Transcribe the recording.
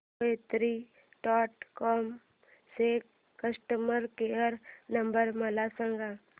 कोयात्री dot com चा customer care number मला सांगा